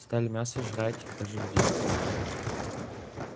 стали мясо жрать даже людей покусали